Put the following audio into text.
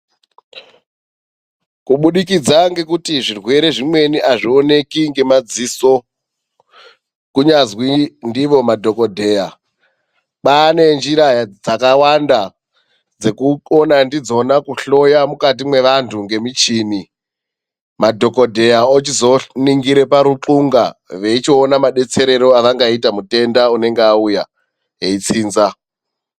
Kubudikidza ngekuti zvirwere zvimweni azvioneki ngemadziso kunyazwi ndivo madhokodheya. Kwaane njira dzakawanda dzekukona ndidzona kuhloya mukati mwevanhu ngemichini, madhokodheya ochizoona paruqunga veichiona madetserero avangaita mutenda unenge auya eitsinza.